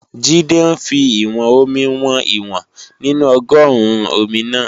Jídé ń fi ìwọ̀n-omi wọn ìwọ̀n nínú ọgọ́ruun omi náà